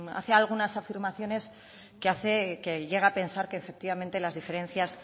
hace algunas afirmaciones que hace que llegue a pensar que efectivamente las diferencias